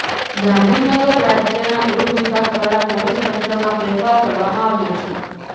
ગાંધીનગરઃ રાજ્યના ગૃહ વિભાગ દ્વારા પોલીસ તંત્રમાં ફેરફાર કરવામાં આવ્યો છે